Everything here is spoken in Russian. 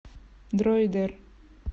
дроидер